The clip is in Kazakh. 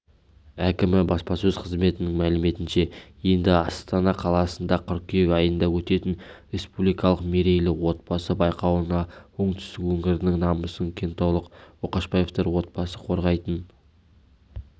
әкімі баспасөз қызметінің мәліметінше енді астана қаласында қыркүйек айында өтетін республикалық мерейлі отбасы байқауына оңтүстік өңірінің намысын кентаулық ошақбаевтар отбасы қорғайтын